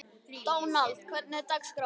Dónald, hvernig er dagskráin?